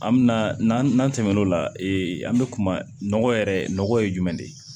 An mɛna n'an nan'an tɛmɛn'o la an bɛ kuma nɔgɔ yɛrɛ nɔgɔ ye jumɛn de ye